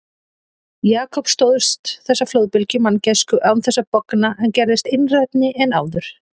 Jakob stóðst þessa flóðbylgju manngæsku án þess að bogna en gerðist einrænni en áður.